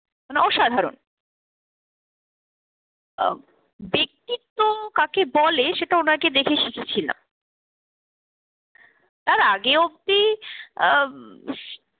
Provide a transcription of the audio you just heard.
মানে অসাধারণ। আহ ব্যক্তিত্ব কাকে বলে সেটা ওনাকে দেখেই শিখেছিলাম। তার আগে অব্দি আব